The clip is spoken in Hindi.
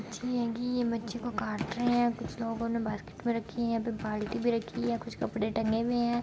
छि ए गी मच्छी को काट रहे हैं | कुछ लोगों ने बास्केट रखी है | यहां पर बाल्टी भी रखी हुई है कुछ कपड़े टंगे हुए है।